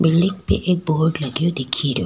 Building पे एक board लगयो दिखे रो।